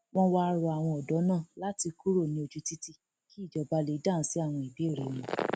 wọn wáá rọ àwọn ọdọ náà láti kúrò ní ojú títì kí ìjọba lè dáhùn sí àwọn ìbéèrè wọn